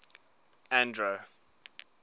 andro